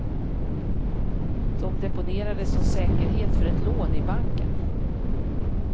De deponerades som säkerhet för ett lån i banken.